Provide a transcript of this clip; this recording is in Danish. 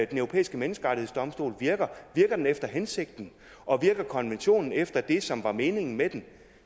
den europæiske menneskerettighedsdomstol virker virker den efter hensigten og virker konventionen efter det som var meningen med den